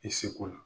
I seko la